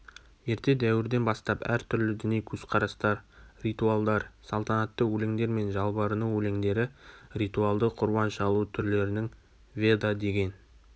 ерте дәуірден бастап әр түрлі діни көзқарастар ритуалдар салтанатты өлеңдер мен жалбарыну өлеңдері ритуалды құрбан шалу түрлерінің ведадеген